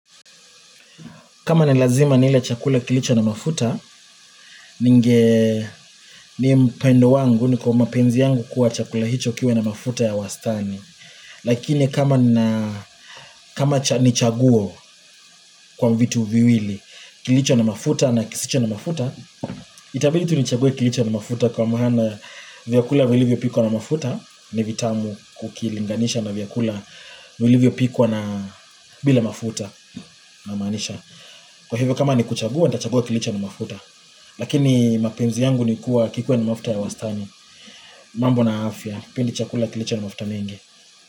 Kama nilazima nile chakula kilicho na mafuta, ni upendo wangu na ni kwa mapenzi yangu kuwa chakula hicho kiwe na mafuta ya wastani. Lakini kama nichaguo kwa vitu viwili kilicho na mafuta na kisicho na mafuta, itabidi tu nichague kilicho na mafuta kwa maana vyakula vilivyo pikwa na mafuta ni vitamu ukilinganisha na vyakula vilivyo pikwa na bila mafuta namaanisha. Kwa hivyo kama ni kuchagua, nitachagua kilicho na mafuta Lakini mapenzi yangu ni kuwa kikuwe na mafuta ya wastani mambo na afya, sipendi chakula kilicha na mafuta mengi.